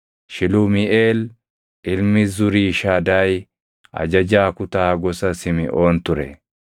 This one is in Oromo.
Shilumiiʼeel ilmi Zuriishadaayi ajajaa kutaa gosa Simiʼoon ture;